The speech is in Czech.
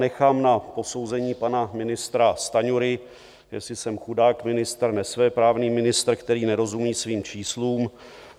Nechám na posouzení pana ministra Stanjury, jestli jsem chudák ministr, nesvéprávný ministr, který nerozumí svým číslům.